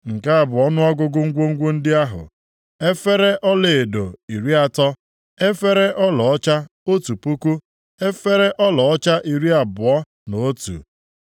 Nke a bụ ọnụọgụgụ ngwongwo ndị ahụ: efere ọlaedo iri atọ (30), efere ọlaọcha otu puku (1,000), efere ọlaọcha iri abụọ na itoolu (29),